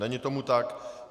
Není tomu tak.